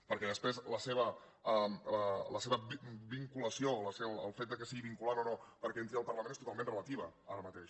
perquè després la seva vinculació el fet que sigui vinculant o no perquè entri al parlament és totalment relativa ara mateix